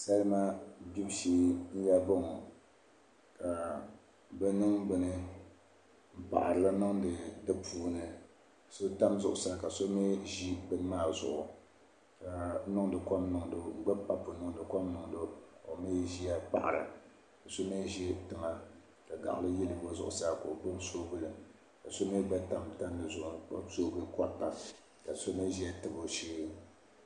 Salma gbubu shee n yaa boŋɔ ka bi niŋ bini n paɣarili niŋdi di puuni so tam zuɣusaa ka so mii ʒi bini maa zuɣu ka bi gbibi papu n niŋdi kom niŋdo ka o mii ʒiya paɣara ka yino ʒi tiŋa ka gaɣili yili o zuɣusaa ka o gbubi soobuli ka so mii gba tam tandi zuɣu n gbubi soobuli korita ka so mii ʒɛ n tabi o shee